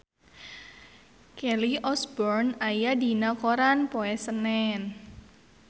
Kelly Osbourne aya dina koran poe Senen